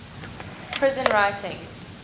prison writings